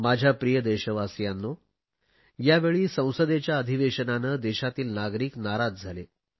माझ्या प्रिय देशवासियांनो यावेळी संसदेच्या अधिवेशनाने देशातील नागरिक नाराज झाले